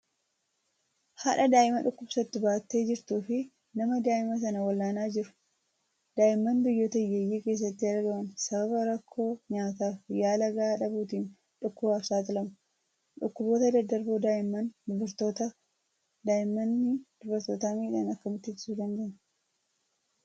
Haadha daa'ima dhukkubsatu baattee jirtuu fi nama daa'ima san wal'aanaa jiru. Daa'imman biyyoota hiyyeeyyii keessatti argaman sababa rakkoo nyaataa fi yaala gahaa dhabuutiin dhukkubaaf saaxilamu. Dhukkuboota daddarboo daa'immanii dubartoota miidhan akkamitti ittisuu dandeenya?